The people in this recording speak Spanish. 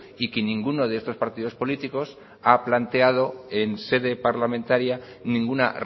y que ninguno de estos partidos políticos ha planteado en sede parlamentaria ninguna